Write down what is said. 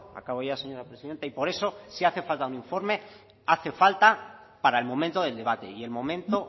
acabo ya señora presidenta y por eso si hace falta un informe hace falta para el momento del debate y el momento